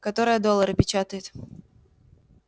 которая доллары печатает